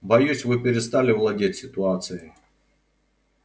боюсь вы перестали владеть ситуацией